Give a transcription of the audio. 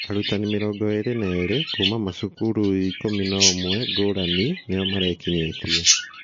Arutani 22 kuuma macukuru 11 ngũrani nio marekinyĩtie